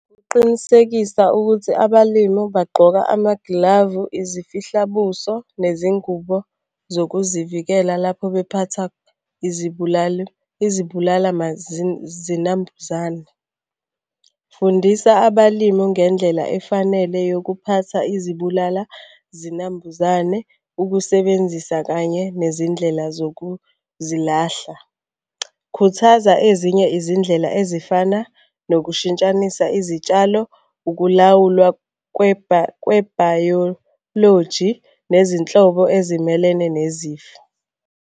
Ukuqinisekisa ukuthi abalimu bagqoka amagilavu, izifihlabuso, nezingubo zokuzivikela lapho bephatha izibulali izibulala zinambuzane. Fundisa abalimu ngendlela efanele yokuphatha izibulala zinambuzane ukusebenzisa kanye nezindlela zokuzilahla. Khuthaza ezinye izindlela ezifana nokushintshanisa izitshalo, ukulawulwa kwebhayoloji nezinhlobo ezimelene nezifo.